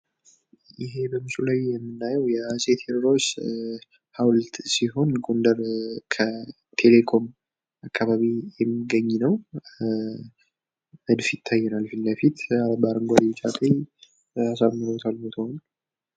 ይህ በምስሉ ላይ የምናየው የአጼ ቴዎድሮስ ሃውልት ሲሆን፤ ጎንደር ከቴሌኮም አካባቢ የሚገኝ ነው። በ አረንጓዴ ፣ ቢጫና ቀይ ቀለም አጊጦ ይታያል።